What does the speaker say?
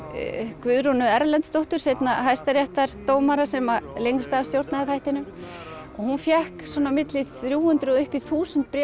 Guðrúnu Erlendsdóttur seinna hæstaréttardómara sem lengst af stjórnaði þættinum og hún fékk á milli þrjú hundruð og upp í þúsund bréf